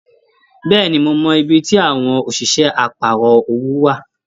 Bẹ́ẹ̀ni, mo mọ ibí tí àwọn òṣìṣẹ́ àparọ̀ owó wa.